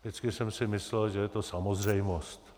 Vždycky jsem si myslel, že je to samozřejmost.